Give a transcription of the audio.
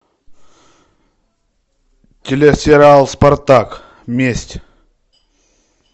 телесериал спартак месть